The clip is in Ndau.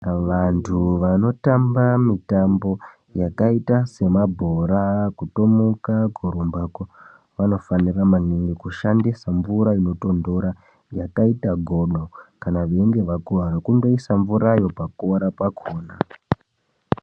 Vanthu vanotamba mitambo yakaita semabhora kutomuka, kurumbako vanofanira maningi kushandisa mvura inotonthora, yakaita godo, kana veinge vakuwara kungoisa mvurayo pakuwara pakhona.